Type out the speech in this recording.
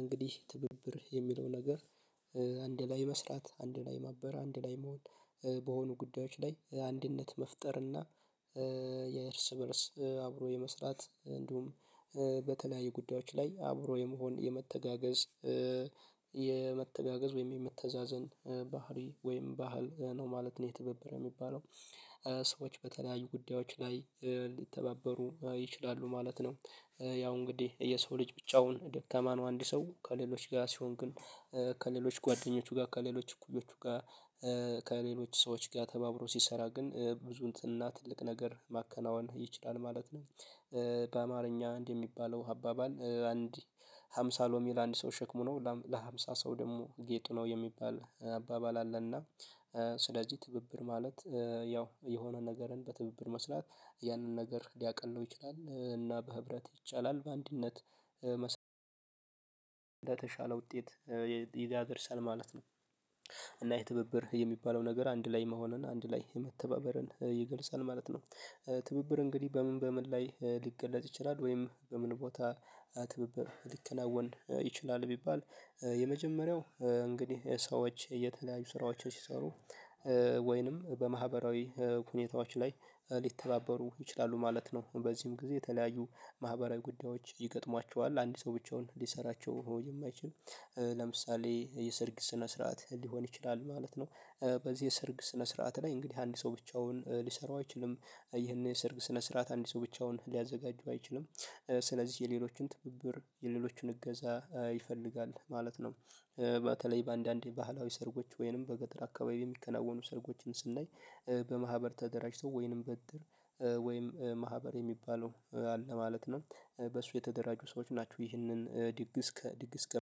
እንግዲህ ትብብር የሚለው ነገር አንድ ላይ መስራት አንድ ላይ ማበራ አንድ ላይ መሆን በሆኑ ጉዳዮች ላይ አንድነት መፍጠር እና የእርስ በእርስ አብሮ የመስራት እንዲሁም በተለያዩ ጉዳዮች ላይ አብሮ የመሆን የመተጋገዝ የመተጋገዝ ወይም የመተዛዘን ባህሪ ወይም ባህል ነው ማለት ነው የትብብር የሚባለው። ሰዎች በተለያዩ ጉዳዮች ላይ ሊተባበሩ ይችላሉ ማለት ነው ያው እንግዲህ የሰው ልጅ ብቻውን ደካማ ነው አንድ ሰው ከሌሎች ጋር ሲሆን ግን ከሌሎች ጓደኞቹ ጋር ከሌሎች እኩዮቹ ጋር ከሌሎች ሰዎች ጋር ተባብሮ ሲሰራ ግን ብዙ እና ትልቅ ነገር ማከናወን ይችላል ማለት ነው። በአማርኛ አንድ የሚባለው አባባል አንድ ሃምሳ ሎሚ ለአንድ ሰው ሸክሙ ነው ለሀምሳ ሰው ደግሞ ጌጡ ነው የሚባል አባባል አለና ስለዚህ ትብብር ማለት ያው የሆነ ነገርን በትብብር መስራት ያንን ነገር ሊያቀለው ይችላል እና በህብረት ይቻላል በአንድነት መስራት እንደተሻለ ውጤት ይደርሳል ማለት ነው። እና የትብብር የሚባለው ነገር አንድ ላይ መሆንን አንድ ላይ የመተባበርን ይገልጻል ማለት ነው። ትብብር እንግዲህ በምን በምን ላይ ሊገለጽ ይችላል ወይም በምን ቦታ ትብብር ሊከናወን ይችላል ቢባል የመጀመሪያው እንግዲህ ሰዎች የተለያዩ ስራዎችን ሲሰሩ ወይንም በማህበራዊ ሁኔታዎች ላይ ሊተባበሩ ይችላሉ ማለት ነው። በዚህም ጊዜ የተለያዩ ማህበራዊ ጉዳዮች ይገጥሟቸዋል አንድ ሰው ብቻውን ሊሰራቸው የማይችል ለምሳሌ የሰርግ ስነ ስርዓት ሊሆን ይችላል ማለት ነው። በዚህ የሰርግ ስነ ስርዓት ላይ እንግዲህ አንድ ሰው ብቻውን ሊሰራው አይችልም ይሄን የሰርግ ስነ ስርዓት አንድ ሰው ብቻውን ሊያዘጋጅ አይችሉም ስለዚህ የሌሎችን ትብብር የሌሎችን እገዛ ይፈልጋል ማለት ነው። በተለይ በአንዳንዴ ባህላዊ ሰርጎች ወይንም በገጠር አካባቢ የሚከናወኑ ሰርጎችን ስናይ በማህበር ተደራጅቶ ወይንም በድር ወይም ማህበር የሚባለው አለ ማለት ነው በሱ የተደራጁ ሰዎች ናቸው ይህንን ድግስ ከድግስ ከ